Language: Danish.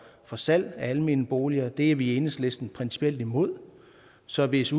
for salg af almene boliger det er vi i enhedslisten principielt imod så hvis